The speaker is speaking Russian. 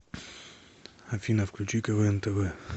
афина включи квн тв